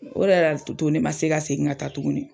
O yɛrɛ de la Tutu ne ma se ka segin ka taa tugunni.